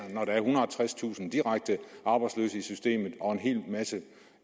tredstusind direkte arbejdsløse i systemet og en hel masse